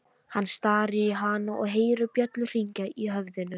Hann starir á hana og heyrir bjöllur hringja í höfðinu.